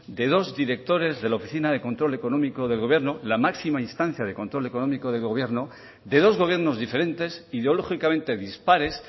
de dos directores de la oficina de control económico del gobierno la máxima instancia de control económico del gobierno de dos gobiernos diferentes ideológicamente dispares